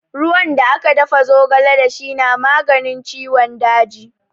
Ruwan da aka dafa zogale da shi na maganin ciwon daji.